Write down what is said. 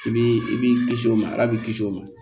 I b'i i b'i kisi o ma ala b'i kisi o ma